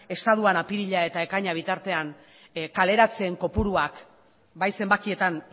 estatuan apirila eta ekaina bitartean kaleratzeen kopuruak bai zenbakietan